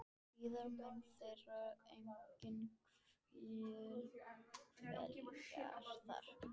Síðar munu þeir einnig hvíla þar.